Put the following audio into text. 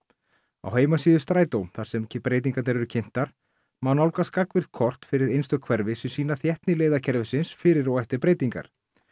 á heimasíðu Strætó þar sem breytingarnar eru kynntar má nálgast gagnvirk kort fyrir einstök hverfi sem sýna þéttni fyrir og eftir breytingar